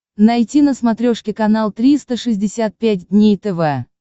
найти на смотрешке канал триста шестьдесят пять дней тв